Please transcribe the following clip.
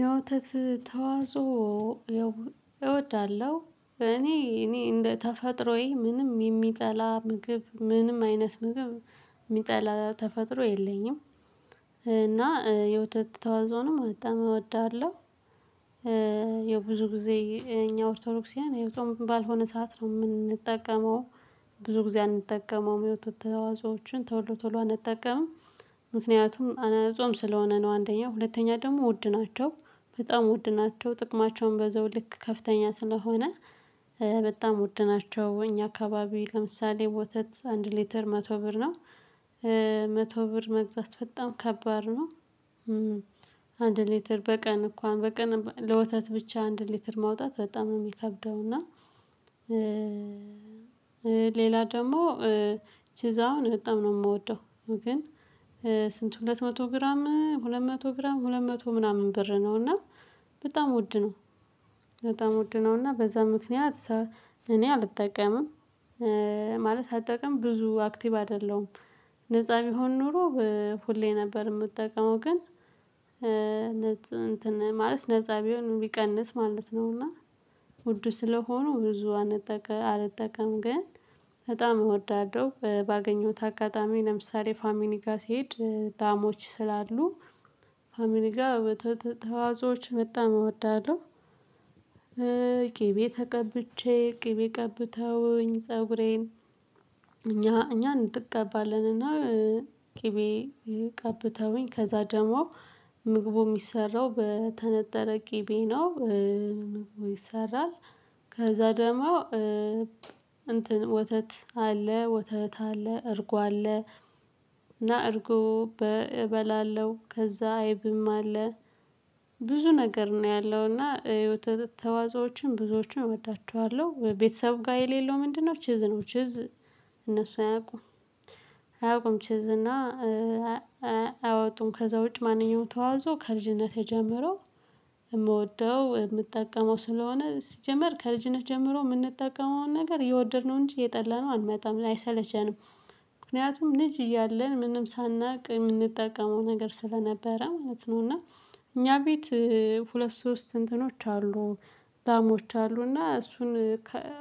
የወተት ተዋጽ ያው እወዳለሁ እኔ እኔ እንደ ተፈጥሮዬ ምንም የሚጠላ ምግብ ምንም አይነት ምግብ የሚጠላ ተፈጥሮ የለኝም። እና የወተት ተዋጽኦንም በጣም እወዳለሁ። ያው ብዙ ጊዜ እኛ ኦርቶዶሳውያን ጾም ባልሆነ ሰዓት ነው የምንጠቀመው። ብዙ ጊዜ አንጠቀመውም የወተት ተዋጽኦዎችን ቶሎ ቶሎ አንጠቀምም። ምክንያቱም ጾም ስለሆነ ነው አንደኛው ሁለተኛ ደግሞ ውድ ናቸው በጣም ውድ ናቸው ጥቅማቸውም በዛው ልክ ከፍተኛ ስለሆነ። በጣም ውድ ናቸው እኛ አካባቢ ለምሳሌ ወተት አንድ ሊትር መቶ ብር ነው። መቶ ብር መግዛት በጣም ከባድ ነው። አንድ ሊትር በቀን እንኳን በቀን ለወተት ብቻ አንድ ሊትር ማውጣት በጣም ነው የሚከብደው እና። ሌላው ደግሞ ቺዝ አሁን በጣም ነው የምወደው። ግን ስንት? ሁለት መቶ ግራም ሁለት መቶ ግራም ሁለት መቶ ምናምን ብር ነው እና በጣም ውድ ነው። በጣም ውድ ነው እና በዛ ምክንያት እኔ አልጠቀምም። ማለት አልጠቀምም ብዙ አክቲቭ አይደለሁም። ነፃ ቢሆን ኖሮ ሁሌ ነበር የምጠቀመው። ግን እንትን ማለት ነፃ ቢሆን ቢቀንስ ማለት ነው። እና ውድ ስለሆኑ ብዙ አልጠቀምም። ግን በጣም እወዳዳለሁ ባገኘሁት አጋጣሚ ለምሳሌ ፋሚሊ ጋር ሲሄድ ላሞች ስላሉ ፋሚሊ ጋር ወተት ተዋጽኦዎች በጣም እወዳለሁ። ቅቤ ተቀብቼ ቅቤ ቀብተውኝ ፀጉሬን እኛ እኛ እንቀባለንና ቅቤ ቀብተውኝ ከዛ ደግሞ ምግቡ የሚሰራው በተነጠረ ቅቤ ነው። ምግቡ ይሰራል። ከዛ ደግሞ እንትን ወተት አለ ወተት አለ እርጎ አለ። እና እርጎ እበላለሁ ከዛ አይብም አለ። ብዙ ነገር ነው ያለው እና የወተት ተዋጽኦችን ብዙዎችን እወዳቸዋለሁ። ቤተሰብ ጋር የሌለው ምንድነው ቺዝ ነው። ቺዝ እነሱ አያውቁም። አያውቁም ቺዝ እና አያወጡም ከዛ ውጭ ማንኛውም ተዋጽኦ ከልጅነቴ ጀምሮ የምወደው የምጠቀመው ስለሆነ ሲጀመር ከልጅነት ጀምሮ የምንጠቀመውን ነገር እየወደድነው እንጂ እየጠላነው አንመጣም አይሰለቸንም። ምክንያቱም ልጅ እያለን ምንም ሳናውቅ የምንጠቀመው ነገር ስለነበረ ማለት ነው። እና እኛ ቤት ሁለት ሶስት እንትኖች አሉ ላሞች አሉ እና እሱን